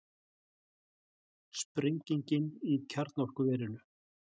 Sprengingin í kjarnorkuverinu